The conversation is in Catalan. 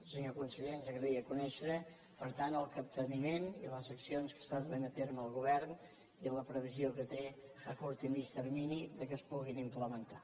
senyor conseller ens agradaria conèixer per tant el capteniment i les accions que està duent a terme el govern i la previsió que té a curt i a mitjà termini perquè es puguin implementar